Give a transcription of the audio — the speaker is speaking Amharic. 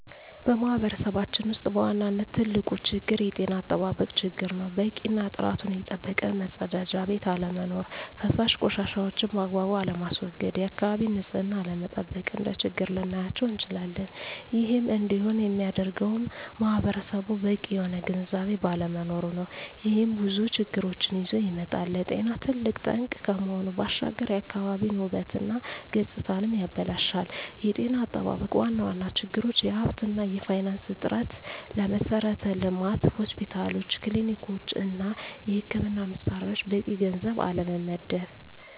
በማህበረሰባችን ውስጥ በዋናነት ትልቁ ችግር የጤና አጠባበቅ ችግር ነው። በቂ እና ጥራቱን የጠበቀ መፀዳጃ ቤት አለመኖር። ፈሳሽ ቆሻሻዎችን ባግባቡ አለማስዎገድ፣ የአካባቢን ንፅህና አለመጠበቅ፣ እንደ ችግር ልናያቸው እንችላለን። ይህም እንዲሆን የሚያደርገውም ማህበረሰቡ በቂ የሆነ ግንዝቤ ባለመኖሩ ነው። ይህም ብዙ ችግሮችን ይዞ ይመጣል። ለጤና ትልቅ ጠንቅ ከመሆኑ ባሻገር የአካባቢን ውበት እና ገፅታንም ያበላሻል። የጤና አጠባበቅ ዋና ዋና ችግሮች የሀብት እና የፋይናንስ እጥረት፣ ለመሠረተ ልማት (ሆስፒታሎች፣ ክሊኒኮች) እና የሕክምና መሣሪያዎች በቂ ገንዘብ አለመመደብ።